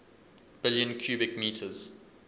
billion cubic meters